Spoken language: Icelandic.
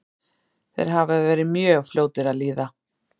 Þeir hafa verið mjög fljótir að líða.